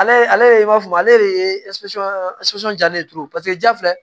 Ale ale b'a fɔ ale de ye ja ne turu paseke ja filɛ